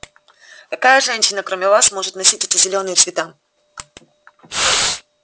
какая женщина кроме вас может носить эти зелёные цвета